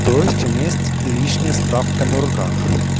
то есть у меня есть лишняя справка на руках